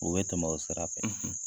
O bɛ tɛmɛ o sira fɛ.